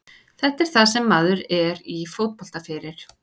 Þetta er það sem maður er í fótbolta fyrir.